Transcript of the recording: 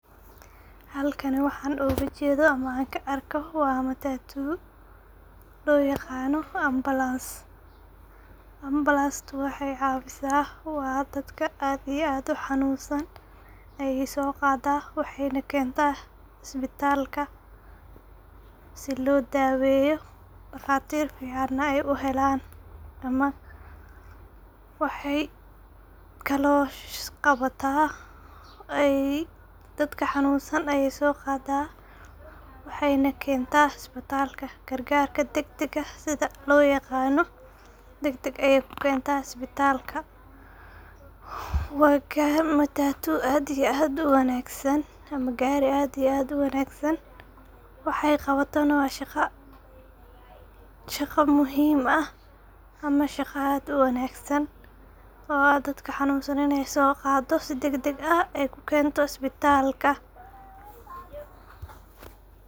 Halkan waxan ku arko ama an oga jedo waa matatu loo yaqano ambalans. Ambalanstu waxey cawisa waa dadka aad iyo aadka u hanunsan ayey so qadaa ,waxeyna qadaa isbitalka si loo daweyo ,dhaqatir ayey u helan ama waxey kalo qabata dadka hanunsan ayey so qadaa waxeyna kenta isbitalka gargarka degdega sidha loo yaqano dagdag ayey ku kenta isbitalka ,wakaa matatu aad iyo aad u wanagsan ama gari aad iyo aad u wanagsan waxey qabatana waa shaqo aad u muhim ah ama shaqo aad u wanagsan oo ah dadka hanunsan iney so qado oo si dagdag ah kukento isbitalka .